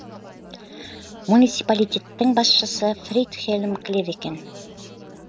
муниципалитеттің басшысы фридхельм клевекен